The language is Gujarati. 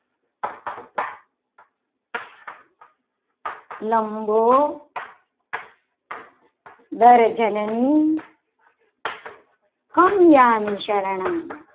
લંબુ દર્શનની અમિયામી શરણમ મમ